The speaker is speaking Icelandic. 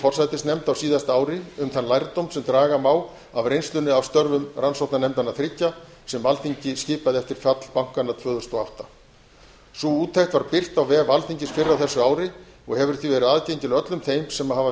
forsætisnefnd á síðasta ári um þann lærdóm sem draga má af reynslunni af störfum rannsóknarnefndanna þriggja sem alþingi skipaði eftir fall bankanna tvö þúsund og átta sú úttekt var birt á vef alþingis fyrr á þessu ári og hefur því verið aðgengileg öllum þeim sem hafa